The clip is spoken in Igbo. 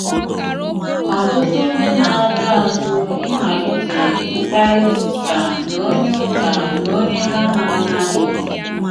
Ọ̀tùtù ndị na-ala àzù ịmalìtè mkpàrịtà ùkà na onye ùkà na onye ha na-amàghì.